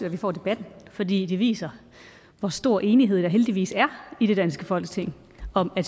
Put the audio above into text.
at vi får debatten fordi det viser hvor stor enighed der heldigvis er i det danske folketing om at